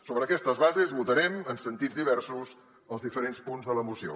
sobre aquestes bases votarem en sentits diversos els diferents punts de la moció